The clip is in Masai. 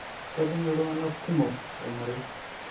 kejing' iltunganak kumok tolmarei